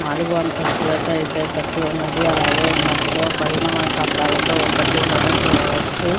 నాలగు అంతస్తులతో అయితే కట్టివున్నది అలగే మధ్య లో పైన మనకు అద్దాలతో కట్టి ఉండటం చూడవచ్చు --